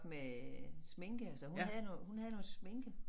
Med sminke så havde noget hun havde noget sminke